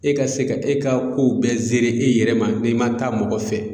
E ka se ka e ka kow bɛɛ e yɛrɛ ma n'i ma taa mɔgɔ fɛ.